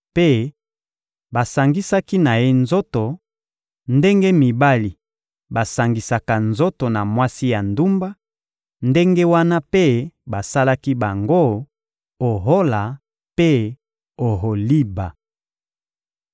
Mpe basangisaki na ye nzoto: ndenge mibali basangisaka nzoto na mwasi ya ndumba, ndenge wana mpe basalaki bango, Ohola mpe Oholiba.